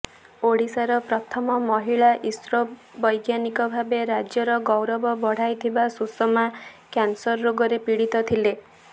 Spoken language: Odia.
ଓଡ଼ିଶାର ପ୍ରଥମ ମହିଳା ଇସ୍ରୋ ବଜ୍ଞାନିକ ଭାବେ ରାଜ୍ୟର ଗୌରବ ବଢ଼ାଇଥିହା ସୁଷମା କ୍ୟାନ୍ସର୍ ରୋଗରେ ପୀଡ଼ିତ ଥିଲେ